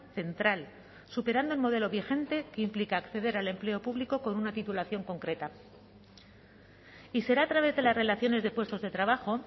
central superando el modelo vigente que implica acceder al empleo público con una titulación concreta y será a través de las relaciones de puestos de trabajo